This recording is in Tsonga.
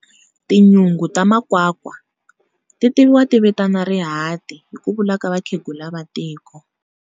Tinyungu ta makwakwa, ti tiviwa ti vitana rihati, hi kuvula ka vakhegula va tiko.